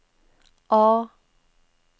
A